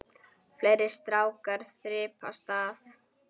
Fleiri strákar þyrpast að.